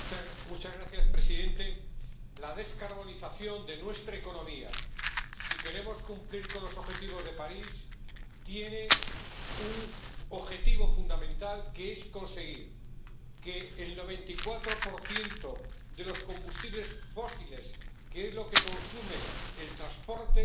Señor presidente, la descarbonización de nuestra economía, si queremos cumplir los objetivos de París, tiene un objetivo fundamental, que es conseguir que el 94 de los combustibles fósiles, que es lo que consume el transporte,